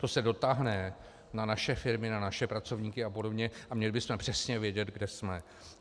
To se dotáhne na naše firmy, na naše pracovníky a podobně a měli bychom přesně vědět, kde jsme.